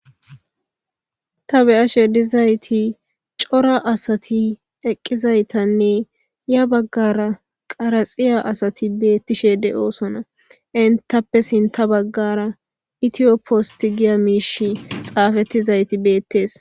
Ta beyashe dizayti cora asati eqqizaytanne ya baggara qaraxiya asati beettishe de7oosona entappesinta baggara itiyo posti giya miish xaafettizayti beettees.